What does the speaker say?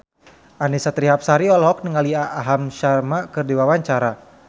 Annisa Trihapsari olohok ningali Aham Sharma keur diwawancara